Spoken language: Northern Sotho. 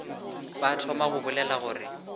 ba thoma go bolela gore